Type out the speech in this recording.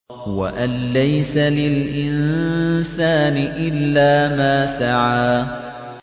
وَأَن لَّيْسَ لِلْإِنسَانِ إِلَّا مَا سَعَىٰ